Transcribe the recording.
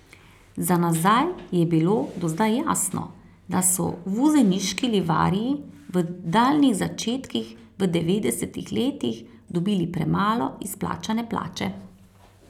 Za nazaj je bilo do zdaj jasno, da so vuzeniški livarji v daljnih začetkih v devetdesetih letih dobili premalo izplačane plače.